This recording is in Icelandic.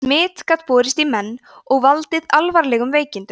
smit gat borist í menn og valdið alvarlegum veikindum